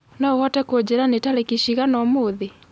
no ũhote kunjĩĩra ni tarĩkĩ cĩgana ũmũthĩ